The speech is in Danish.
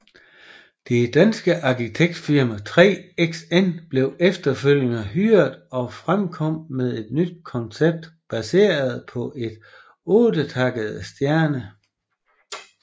Det danske arkitektfirma 3XN blev efterfølgende hyret og fremkom med et nyt koncept baseret på et ottetakket stjerne